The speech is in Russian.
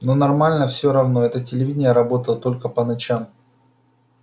но нормально все равно это телевидение работало только по ночам